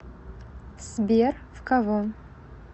сбер в кого